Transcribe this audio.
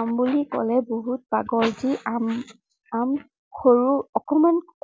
আম বুলি কলে বহুত পাগল। সি আম আম, সৰু অকনমান